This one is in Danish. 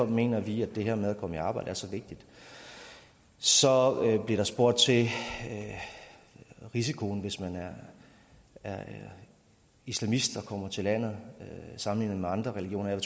mener vi at det her med at komme i arbejde er så vigtigt så bliver der spurgt til risikoen hvis man er islamist og kommer til landet sammenlignet med andre religioner jeg